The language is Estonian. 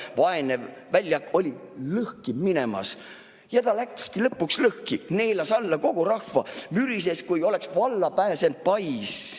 Vaene väljak oli lõhki minemas ja ta läkski lõpuks lõhki, neelas alla kogu rahva, mürises, kui oleks valla pääsend pais.